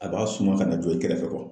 A b'a suman kan'a jo i kɛrɛfɛ kɔrɔ